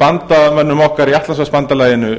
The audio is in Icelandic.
bandamönnum okkar í atlantshafsbandalaginu